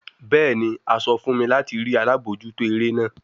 Bẹẹni, a sọ fun mi lati rii alabojuto ere naa